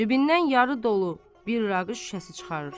Cibindən yarı dolu bir araq şüşəsi çıxarır.